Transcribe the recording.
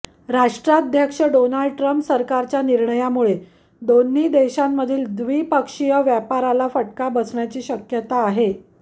राष्ट्राध्यक्ष Donald Trump सरकारच्या निर्णयामुळे दोन्ही देशांमधील द्विपक्षीय व्यापाराला फटका बसण्याची शक्यता आहे